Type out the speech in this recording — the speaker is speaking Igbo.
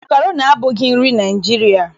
Makroni abụghị nri Naịjirịa.